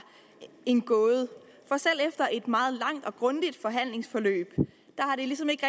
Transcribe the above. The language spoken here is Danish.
en gåde for selv efter et meget langt og grundigt forhandlingsforløb har det ligesom ikke